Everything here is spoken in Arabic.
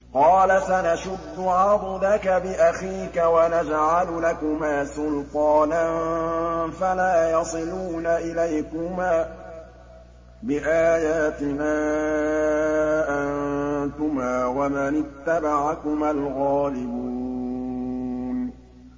قَالَ سَنَشُدُّ عَضُدَكَ بِأَخِيكَ وَنَجْعَلُ لَكُمَا سُلْطَانًا فَلَا يَصِلُونَ إِلَيْكُمَا ۚ بِآيَاتِنَا أَنتُمَا وَمَنِ اتَّبَعَكُمَا الْغَالِبُونَ